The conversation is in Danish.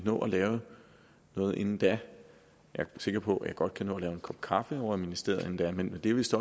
nå at lave noget inden da jeg er sikker på at jeg godt kan nå at lave en kop kaffe ovre i ministeriet inden da men det er vist